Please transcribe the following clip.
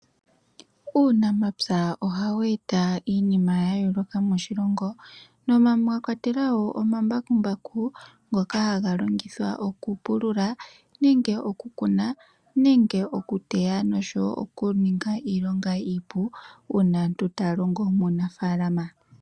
Uunamapya ohawu eta iinima ya yoloka moshilongo, moka mwakwatelwa wo omambakumbaku ngoka haga longithwa okupulula, oku kuna nenge oku teya noshowo oku ninga iilongo iipu una aantu taya longo uunafalama.